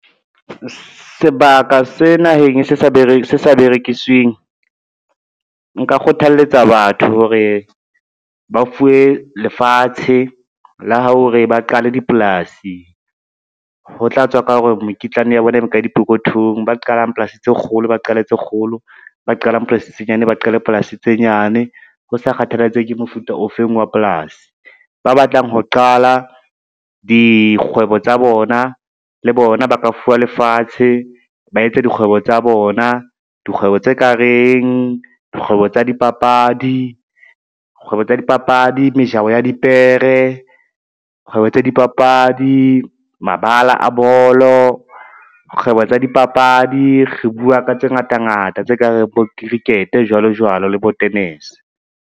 Sebaka se naheng se sa berekisweng. Nka kgothaletsa batho hore ba fuwe lefatshe la hore ba qale dipolasi, ho tla tswa ka hore mokitlane ya bona e ba ka dipokothong. Ba qalang polasi tse kgolo, ba qale tse kgolo, ba qalang polasi tse nyane, ba qale polasi tse nyane ho sa kgathalatsehe ke mofuta ofeng wa polasi. Ba batlang ho qala dikgwebo tsa bona le bona ba ka fuwa lefatshe, ba etse dikgwebo tsa bona, dikgwebo tse kareng, kgwebo tsa dipapadi, mejaho ya di dipere, kgwebo tsa dipapadi, mabala a bolo, kgwebo tsa dipapadi, re bua ka tse ngata ngata tse ka reng bo cricket jwalo jwalo le bo tenese.